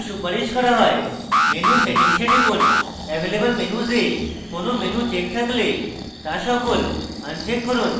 menu settings এ টিপুন available menus এ কোনো menu uncheck থাকলে তা সকল uncheck করুন